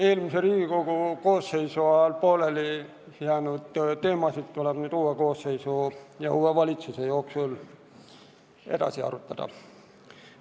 Eelmise Riigikogu koosseisu ajal pooleli jäänud teemasid tuleb nüüd uue koosseisu ja uue valitsuse ametiajal arutada.